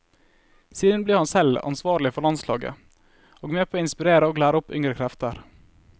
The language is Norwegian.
Siden ble han selv ansvarlig for landslaget og med på å inspirere og lære opp yngre krefter.